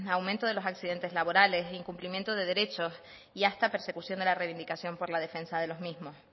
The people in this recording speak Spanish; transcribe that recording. aumento de los accidentes laborales incumplimiento de derechos y hasta persecución de la reivindicación por la defensa de los mismos